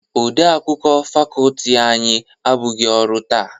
Odeakwụkwọ fakọọti anyị abụghị ọrụ taa.